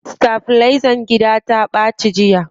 Sitabilizan gida ta ɓaci jiya.